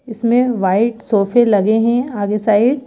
इसमें वाइट सोफे लगे हैं आगे साइड --